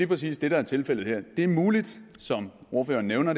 præcis det der er tilfældet her det er muligt som ordføreren nævner